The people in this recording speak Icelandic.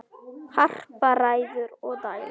Harpa ræður og dælir.